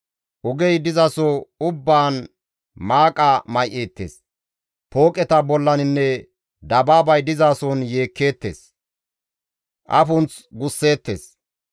Ogey dizaso ubbaan maaqa may7eettes; pooqeta bollaninne dabaabay dizason yeekkeettes; afunth gusseettes.